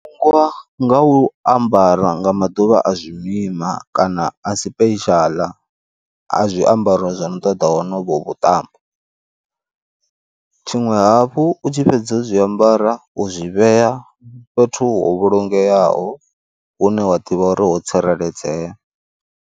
Nga u ambara nga maḓuvha a zwi mima kana a special a zwiambaro zwano ṱoḓa onovho vhuṱambo. Tshiṅwe hafhu u tshi fhedza u zwiambara u zwi vhea fhethu ho vhulungeaho hune wa ḓivha uri ho tsireledzea.